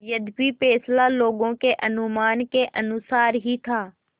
यद्यपि फैसला लोगों के अनुमान के अनुसार ही था